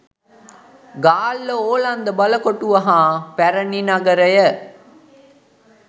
ගාල්ල ඕලන්ද බලකොටුව හා පැරණි නගරය